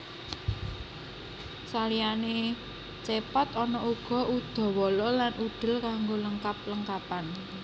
Saliyane Cepot ana uga Udawala lan Udel kanggo lengkap lengkapan